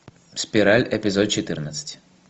спираль эпизод четырнадцать